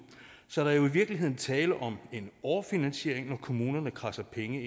så der er jo i virkeligheden tale om en overfinansiering når kommunerne kradser penge